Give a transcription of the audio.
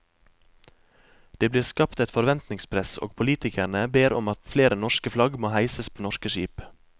Det blir skapt et forventningspress og politikerne ber om at flere norske flagg må heises på norske skip.